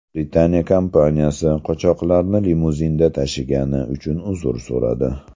Britaniya kompaniyasi qochoqlarni limuzinda tashigani uchun uzr so‘radi.